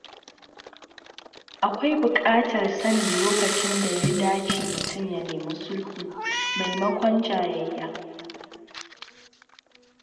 Akwai bukatar sanin lokacin da ya dace mutum ya nemi sulhu maimakon jayayya.